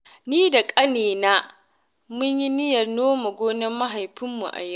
Ni da ƙanina mun yi niyyar nome gonar mahaifinmu a yau.